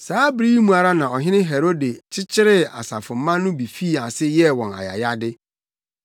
Saa bere yi mu ara na Ɔhene Herode kyekyeree asafomma no bi fii ase yɛɛ wɔn ayayade.